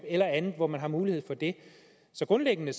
eller andet hvor man har mulighed for det så grundlæggende